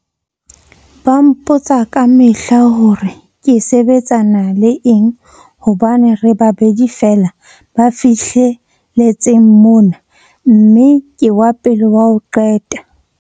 Ba mpotsa kamehla hore ke sebetsana le eng hobane re babedi feela ba fihle letseng mona mme ke wa pele wa ho qeta.